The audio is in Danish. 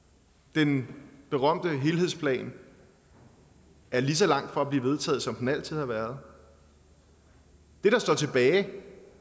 den berømte helhedsplan er lige så langt fra at blive vedtaget som den altid har været det der står tilbage